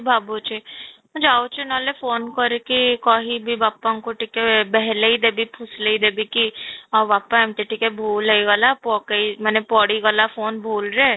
ଭାବୁଛି ମୁଁ ଯାଉଛି ନହେଲେ phone କରିକି କହିବି ବାପାଙ୍କୁ ଟିକେ ଦେବୀ ଫୁସୁଲେଇ ଦେବି କି ଆଉ ବାପା ଏମିତି ଟିକେ ଭୁଲ ହେଇଗଲା ପକେଇ ମାନେ ପଡିଗଲା phone ଭୁଲରେ